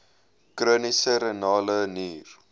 chroniese renale nier